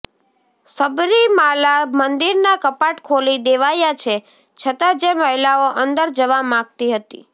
સબરીમાલા મંદિરના કપાટ ખોલી દેવાયા છે છતાં જે મહિલાઓ અંદર જવા માંગતી હતી